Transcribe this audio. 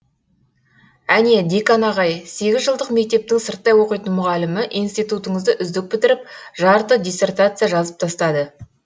әне декан ағай сегізжылдық мектептің сырттай оқитын мұғалімі институтыңызды үздік бітіріп жарты диссертация жазып тастады